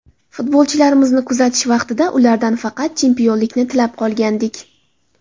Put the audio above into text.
Futbolchilarimizni kuzatish vaqtida ulardan faqat chempionlikni tilab qolgandik.